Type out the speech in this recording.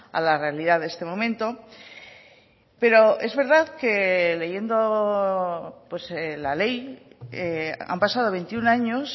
a la realidad de este momento pero es verdad que leyendo la ley han pasado veintiuno años